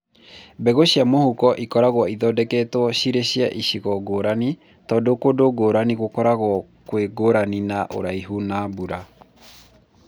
Mbegũ cia mũhuko cikoragwo ithondeketwo cirĩ cia icigo ngũrani tondũ kũndũ ngũrani gũkoragwo kwĩngũrani na ũraihu na mbura.